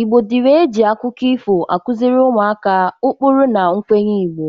Igbo dịrị e ji akụkụ ifo akụzịrị ụmụaka ukpuru na mkwenye Igbo.